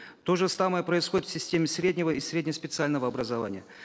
то же самое происходит в системе среднего и средне специального образования